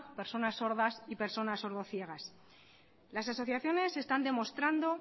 personas sordas y personas sordo ciegas las asociaciones están demostrando